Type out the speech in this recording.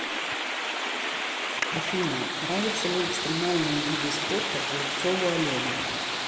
афина нравятся ли экстримальные виды спорта голубцову олегу